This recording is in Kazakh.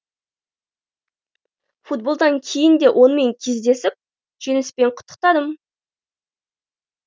футболдан кейін де онымен кездесіп жеңіспен құттықтадым